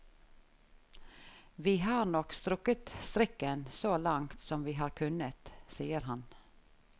Vi har nok strukket strikken så langt som vi har kunnet, sier han.